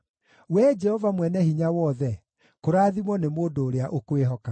Wee Jehova Mwene-Hinya-Wothe, kũrathimwo nĩ mũndũ ũrĩa ũkwĩhokaga.